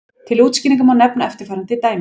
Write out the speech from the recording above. Til útskýringar má nefna eftirfarandi dæmi.